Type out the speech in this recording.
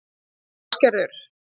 Ásgerður